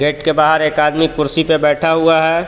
Gate के बाहर एक आदमी कुर्सी पे बैठा हुआ है।